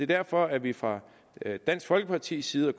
derfor at vi fra dansk folkepartis side og